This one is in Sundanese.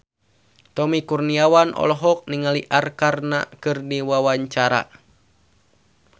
Tommy Kurniawan olohok ningali Arkarna keur diwawancara